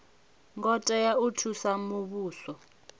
ngo tea u thusa muvhuso